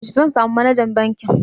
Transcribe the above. Yaushe zan samu Manajan bankin?